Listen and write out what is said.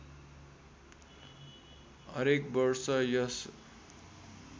हरेक वर्ष यस